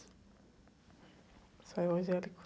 Som evangélico